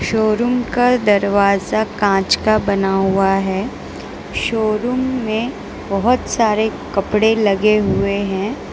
Showroom का दरवाजा कांच का बना हुआ है शोरूम में बहोत सारे कपड़े लगे हुए हैं।